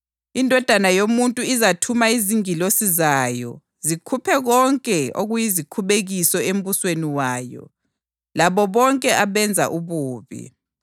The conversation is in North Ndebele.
Indodana yoMuntu izathuma izingilosi zayo, zikhuphe konke okuyizikhubekiso embusweni wayo, labo bonke abenza ububi.